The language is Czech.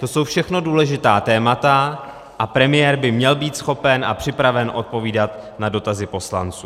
To jsou všechno důležitá témata a premiér by měl být schopen a připraven odpovídat na dotazy poslanců.